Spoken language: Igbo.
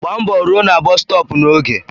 Gbaa mbọ rụọ na bọs stọọpu n'oge.